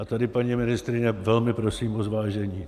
A tady, paní ministryně, velmi prosím o zvážení.